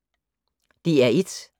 DR1